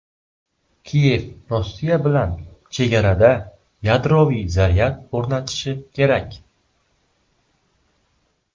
Kiyev Rossiya bilan chegarada yadroviy zaryad o‘rnatishi kerak.